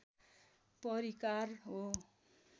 परिकार हो